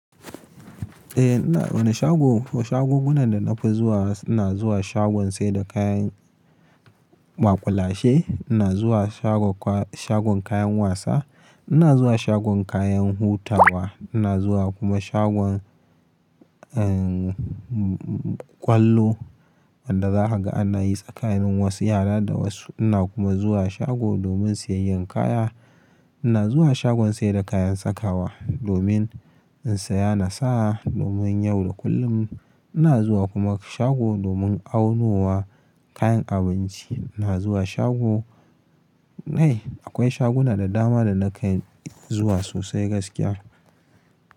Eh, ina wana shago, shagunan da nafi zuwa ina zuwa shagon saida kayan maƙulashe, ina zuwa shagon kayan wasa, ina zuwa shagon kayan hutawa, ina zuwa kuma shagon, umm, ƙwallo wanda zaka ga ana yi tsakanin wasu yara da wasu. Ina kuma zuwa shago domin siyayyan kaya. Ina zuwa shagon saida kayan sakawa domin in saya nasa domin yau da kullum. Ina zuwa kuma shago domin aunowa kayan abinci. Ina zuwa shago, eh akwai shaguna da dama da na kai zuwa sosai gaskiya.